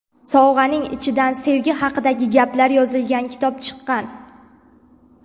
Sovg‘aning ichidan sevgi haqidagi gaplar yozilgan kitob chiqqan.